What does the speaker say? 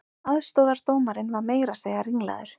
Aðstoðardómarinn var meira að segja ringlaður